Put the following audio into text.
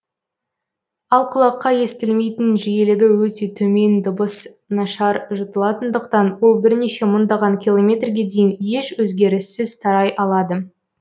ал құлаққа естілмейтін жиілігі өте төмен дыбыс нашар жұтылатындықтан ол бірнеше мыңдаған километрге дейін еш өзгеріссіз тарай алады